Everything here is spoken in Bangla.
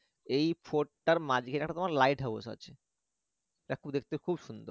এই fort টার মাঝখানে একটা তোমার lighthouse আছে যা দেখতে খুব সুন্দর